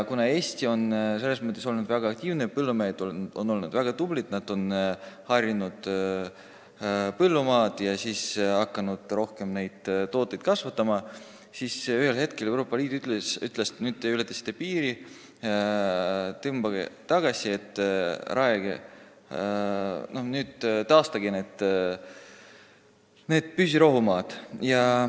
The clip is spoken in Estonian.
Kuna Eesti on selles mõttes väga aktiivne olnud – põllumehed on olnud väga tublid, harinud põllumaad ja hakanud rohkem tooteid kasvatama –, siis ütles Euroopa Liit ühel hetkel, et te ületasite piiri, tõmmake tagasi ja taastage püsirohumaad.